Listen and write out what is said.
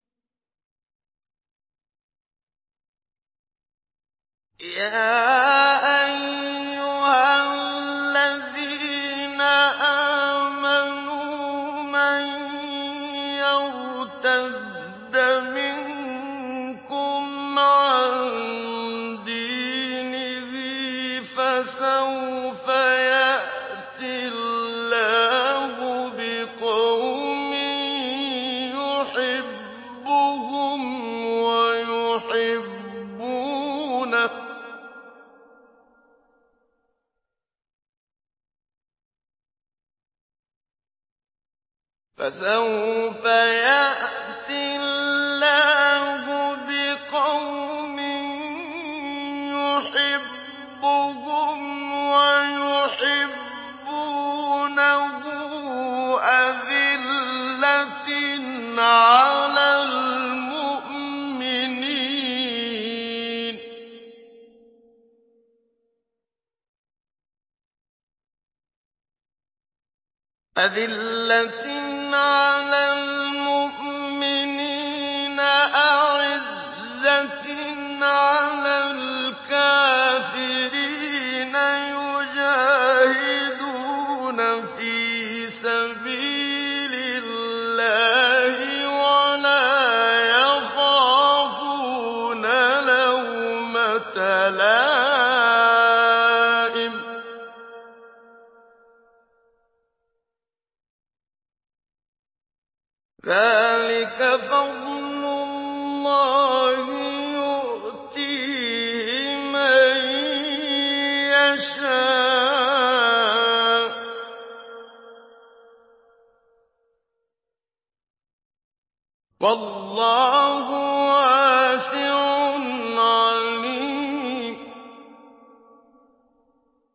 يَا أَيُّهَا الَّذِينَ آمَنُوا مَن يَرْتَدَّ مِنكُمْ عَن دِينِهِ فَسَوْفَ يَأْتِي اللَّهُ بِقَوْمٍ يُحِبُّهُمْ وَيُحِبُّونَهُ أَذِلَّةٍ عَلَى الْمُؤْمِنِينَ أَعِزَّةٍ عَلَى الْكَافِرِينَ يُجَاهِدُونَ فِي سَبِيلِ اللَّهِ وَلَا يَخَافُونَ لَوْمَةَ لَائِمٍ ۚ ذَٰلِكَ فَضْلُ اللَّهِ يُؤْتِيهِ مَن يَشَاءُ ۚ وَاللَّهُ وَاسِعٌ عَلِيمٌ